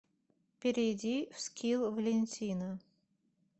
перейди в скилл валентина